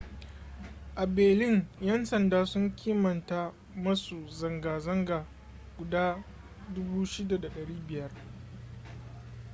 a berlin yan sanda sun kimanta masu zanga-zanga guda 6,500